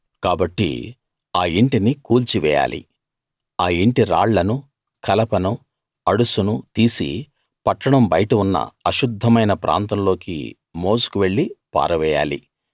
కాబట్టి ఆ ఇంటిని కూల్చి వేయాలి ఆ ఇంటి రాళ్ళనూ కలపనూ అడుసునూ తీసి పట్టణం బయట ఉన్న అశుద్ధమైన ప్రాంతంలోకి మోసుకు వెళ్ళి పారవేయాలి